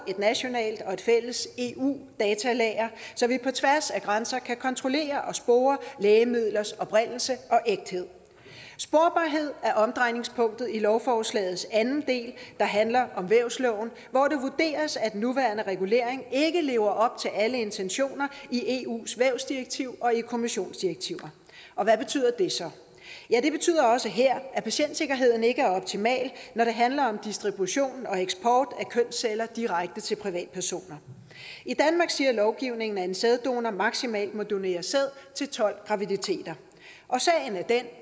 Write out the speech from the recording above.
et nationalt og et fælles eu datalager så vi på tværs af grænser kan kontrollere og spore lægemidlers oprindelse og ægthed sporbarhed er omdrejningspunktet i lovforslagets anden del der handler om vævsloven hvor det vurderes at den nuværende regulering ikke lever op til alle intentioner i eus vævsdirektiv og i kommissionsdirektiver hvad betyder det så det betyder også her at patientsikkerheden ikke er optimal når det handler om distribution og eksport af kønsceller direkte til privatpersoner i danmark siger lovgivningen at en sæddonor maksimalt må donere sæd til tolv graviditeter sagen er den